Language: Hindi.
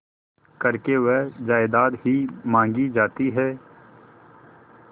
करके वह जायदाद ही मॉँगी जाती है